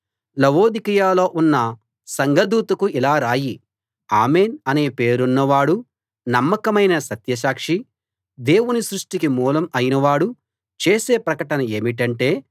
లవొదికయలో ఉన్న సంఘదూతకు ఇలా రాయి ఆమేన్‌ అనే పేరున్న వాడూ నమ్మకమైన సత్యసాక్షీ దేవుని సృష్టికి మూలం అయిన వాడూ చేసే ప్రకటన ఏమిటంటే